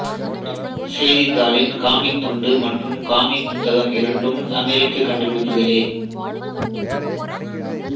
செய்தித்தாளின் comic துண்டு மற்றும் comic புத்தகம் இரண்டும் அமெரிக்க கண்டுபிடிப்புகளே